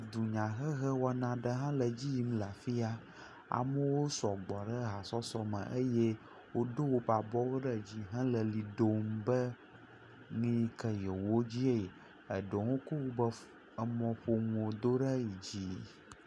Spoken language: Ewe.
Dunyahehe wɔna aɖe le edzi yim le afi ya, amewo sɔgbɔ ɖe hasɔsɔ eye wodo woƒe abɔwo ɖe dzi be nu yike yewodie yi. Eɖewo kɔ woƒe emɔƒonuwo do ɖe yi dzi.